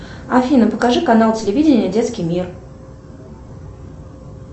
афина покажи канал телевидения детский мир